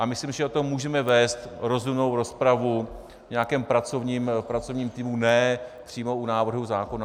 A myslím, že o tom můžeme vést rozumnou rozpravu v nějakém pracovním týmu, ne přímo u návrhu zákona.